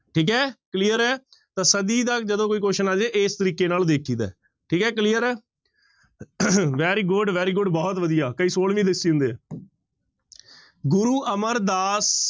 ਠੀਕ ਹੈ clear ਹੈ ਤਾਂ ਸਦੀ ਦਾ ਜਦੋਂ ਕੋਈ question ਆ ਜਾਏ ਇਸ ਤਰੀਕੇ ਨਾਲ ਵੇਖੀਦਾ ਹੈ ਠੀਕ ਹੈ clear ਹੈ very good, very good, ਬਹੁਤ ਵਧੀਆ ਕਈ ਛੋਲਵੀਂ ਦੱਸੀ ਜਾਂਦੇ ਹੈ ਗੁਰੂ ਅਮਰਦਾਸ